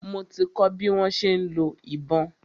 Mo ti kọ́ bi wọ́n ṣe ń lo ìbọn.